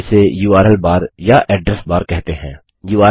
इसे URL bar URL bar या address bar address bar कहते हैं